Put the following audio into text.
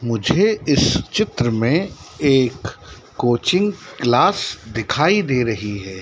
मुझे इस चित्र में एक कोचिंग क्लास दे रही है।